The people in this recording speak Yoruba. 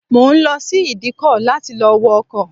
Mo ń lọ sí ìdíkọ láti lọ wọ ọkọ̀